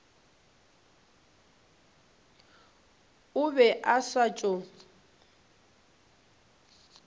o be a sa tšo